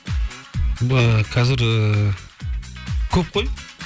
қазір ііі көп қой